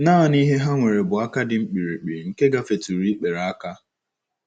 Nanị ihe ha nwere bụ aka dị mkpirikpi nke gafetụrụ ikpere aka.